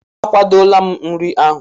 Akwadola m nri ahụ.